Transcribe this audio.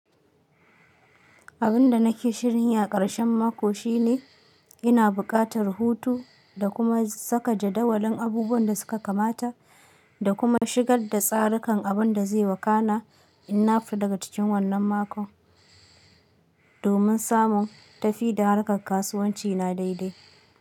Abin da nake shirinyi a ƙarshen mako shine ina buƙatar hotu da kuma saka jadawalin abubuwan da suka kamata da kuma shigar da tsarikan abin da zai wakana in nafita daga cikin wannan makon, domin samun tafi da harkar kasuwanci na daidai.